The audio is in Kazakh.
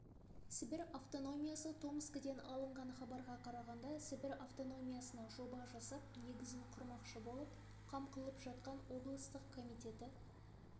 сібір автономиясы томскіден алынған хабарға қарағанда сібір автономиясына жоба жасап негізін құрмақшы болып қам қылып жатқан обдыстық комитеті